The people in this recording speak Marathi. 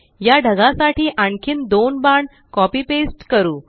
या ढगासाठी आणखीन दोन बाण कॉपी पेस्ट करु